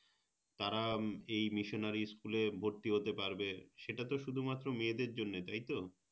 তারা এই Missionary School এ ভর্তি হতে পারবে সেটা তো শুধু মাত্র মেয়েদের জন্যে তাইতো